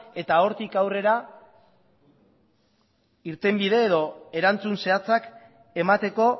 eta hortik aurrera irtenbide edo erantzun zehatzak emateko